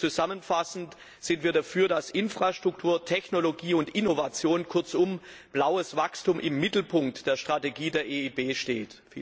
Zusammenfassend sind wir dafür, dass Infrastruktur, Technologie und Innovation kurzum blaues Wachstum im Mittelpunkt der Strategie der EIB steht.